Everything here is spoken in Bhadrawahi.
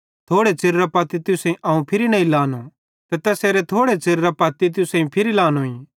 थोड़े च़िरेरां पत्ती तुसेईं अवं फिरी नईं लहनों ते तैसेरे थोड़े च़िरेरां पत्ती तुसेईं अवं फिरी लांनोईं